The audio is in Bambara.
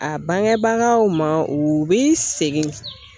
A bangebagaw ma u bɛ segin